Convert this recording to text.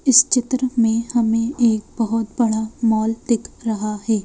इस चित्र में हमें एक बहुत बड़ा मॉल दिख रहा है।